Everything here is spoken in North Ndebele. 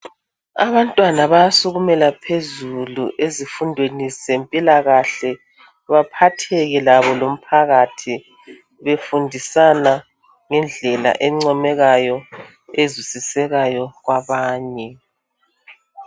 Abantwana bayasukumela phezulu ezifundweni ze mpilakahle baphatheke labo lomphakathi befundisana ngendlela encomekayo, ezwisisekayo kwabanye